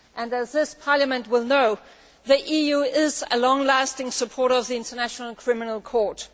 As this Parliament will know, the EU is a long standing supporter of the International Criminal Court.